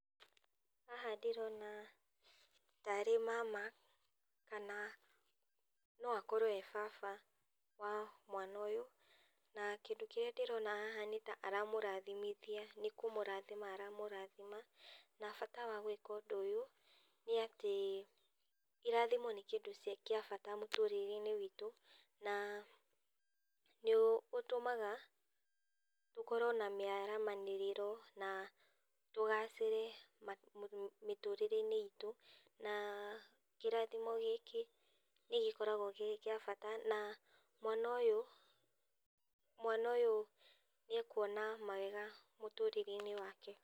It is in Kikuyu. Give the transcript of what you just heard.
Haha ndĩrona taarĩ mama kana no akorwo e baba wa mwana ũyũ, na kĩndũ kĩrĩa ndĩrona haha nĩta aramũrathimithia, nĩ kũmũrathima aramũrathima na bata wa gũĩka ũndũ ũyũ nĩ atĩ, irathimo nĩ kĩndũ kĩa bata mũtũrĩre-inĩ witũ na nĩ ũtũmaga tũkorwo na mĩaramanĩrĩro na tũgacĩre mĩtũrĩre-inĩ itũ. Na kĩrathimo gĩkĩ nĩ gĩkoragwo kĩrĩ gĩa bata na mwana ũyũ nĩekwona mawega mũtũrĩre-inĩ wake.